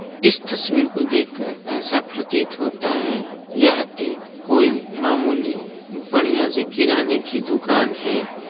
इस तस्वीर को देख कर एसा प्रतीत होता है यह एक कोई मामूली बढ़िया सी किराने की दुकान हैं।